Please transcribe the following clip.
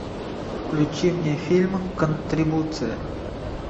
включи мне фильм контрибуция